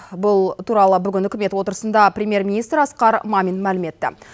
бұл туралы бүгін үкімет отырысында премьер министр асқар мамин мәлім етті